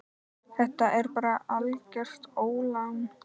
Þetta er bara algert ólán.